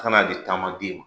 Kana di taama den ma.